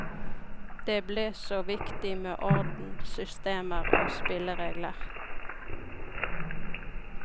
Det ble så viktig med orden, systemer og spilleregler.